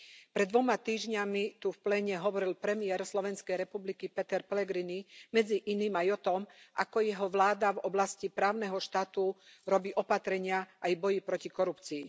Pred dvoma týždňami tu v pléne hovoril premiér Slovenskej republiky Peter Pellegrini medzi iným aj o tom, ako jeho vláda v oblasti právneho štátu robí opatrenia, aj bojuje proti korupcii.